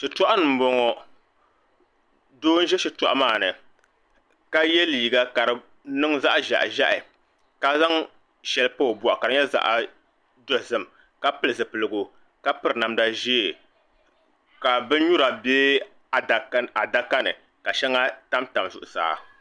Shitoɣu ni n boŋo doo n ʒi shitoɣu maa ni ka yɛ liiga ka di niŋ zaɣ ʒiɛhi ʒiɛhi ka zaŋ shɛli pa o boɣu ka di nyɛ zaɣ dozim ka pili zipiligu ka piri namda ʒiɛ ka bin nyura bɛ adaka ni ka shɛŋa tamtam zuɣusaa